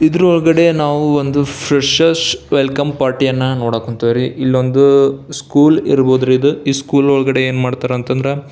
ಇದರ ಒಳಗಡೆ ನಾವು ಒಂದು ಫ್ರೆಷೆರ್ಸ್ ವೆಲ್ಕಮ್ ಪಾರ್ಟಿ ಅನ್ನ ನೋಡಕ್ ಹೊಂತೀವ್ರಿ. ಇದೊಂದು ಸ್ಕೂಲ್ ಇರಬಹದು ರೀ ಇದು ಸ್ಕೂಲ್ ಒಳಗಡೆ ಏನ್ ಮಾಡ್ತಾರೆ ಅಂತ ಅಂದ್ರ --